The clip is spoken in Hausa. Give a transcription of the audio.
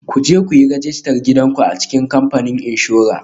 Ku je ku yi rajistar gidan ku a cikin kamfanin inshora